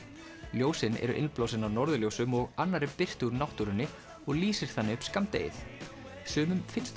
ljósin eru innblásin af norðurljósum og annarri birtu úr náttúrunni og lýsir þannig upp skammdegið sumum finnst